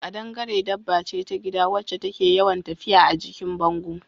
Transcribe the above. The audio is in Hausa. Ƙadangare dabba ce ta gida wacce take yawan tafiya a jikin bango